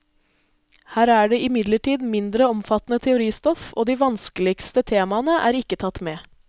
Her er det imidlertid mindre omfattende teoristoff, og de vanskeligste temaene er ikke tatt med.